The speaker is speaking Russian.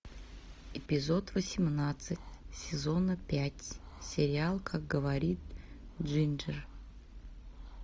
эпизод восемнадцать сезона пять сериал как говорит джинджер